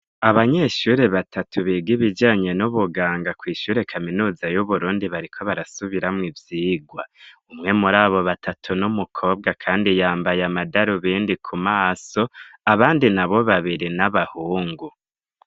Abanyeshure batatu biga ibijanye n'ubuganga kw'ishure kaminuza y'uburundi bariko barasubiramwo ivyigwa. Umwe muri abo batatu ni umukobwa kandi yambaye amatarubindi ku maso abandi nabo babiri ni abahungu.